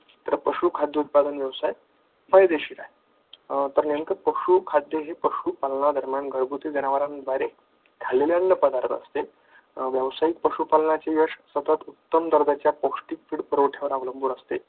तर पशुखाद्य उत्पादन व्यवसाय फायदेशीर आहे. तर नेमका पशुखाद्य हे घरगुती जनावरांद्वारे खाल्लेले अन्नपदार्थ असते व्यवसायिक पशुपालनाचे यश उत्तम पौष्टिक पण उत्पादनावर अवलंबून असते.